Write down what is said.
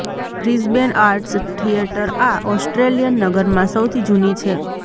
Brisbane arts theatre આ Australian નગરમાં સૌથી જૂની છે